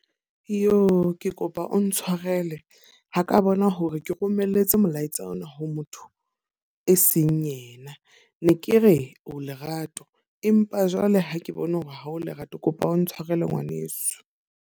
Iyo! Ke kopa o ntshwarele. Ha ka bona hore ke romelletse molaetsa ona ho motho e seng yena. Ne ke re o Lerato, empa jwale ha ke bone hore ha o Lerato. Kopa o ntshwarele ngwaneso.